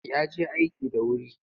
Ya je aiki da wuri.